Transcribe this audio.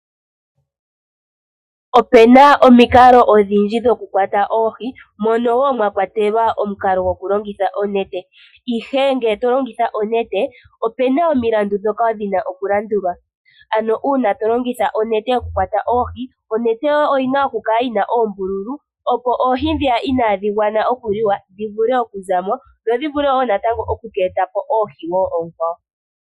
Ope na omikalo odhindji dhokukwata oohi, mono woo mwakwatelwa omukalo gokulongitha onete . Ihe ngele tolongitha onete opena omilandu dhoka dhina okulandulwa. Ano uuna to longitha onete yokukwata oohi, onete yoye oya pumbwa okukala yina oombululu opo oohi dhiya inadhi gwana okukaliwa dhivule okuzamo, dho dhi vule woo natango oku etapo oohi woo oonkwawo.